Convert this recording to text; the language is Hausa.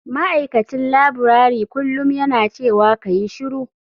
Ma'aikacin laburare kullum yana cewa kayi shiru.